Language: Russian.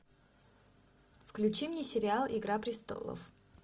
включи мне сериал игра престолов